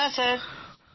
হ্যাঁ স্যার